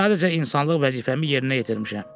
Sadəcə insanlıq vəzifəmi yerinə yetirmişəm.